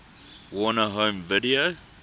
warner home video